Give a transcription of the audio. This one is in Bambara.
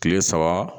Kile saba